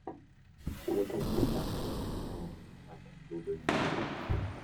wuoth mar ngamia miyo ng'ato yudo yueyo.